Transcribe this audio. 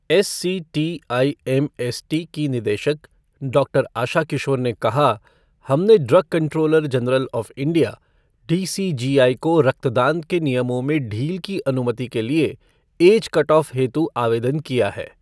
SCTIMST की निदेशक doctor Asha Kishore ने कहा, हमने drug controller general of India, DCGI को रक्तदान के नियमों में ढील की अनुमति के लिए एज कटआफ हेतु आवेदन किया है।